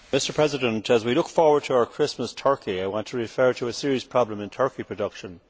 Mr President, as we look forward to our Christmas turkey I want to refer to a serious problem in turkey production.